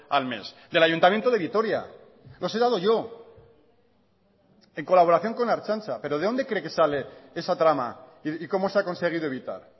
al mes del ayuntamiento de vitoria los he dado yo en colaboración con la ertzantza pero de dónde cree que sale esa trama y cómo se ha conseguido evitar